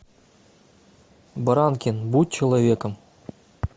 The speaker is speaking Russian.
баранкин будь человеком